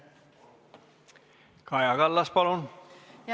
Kaja Kallas, palun!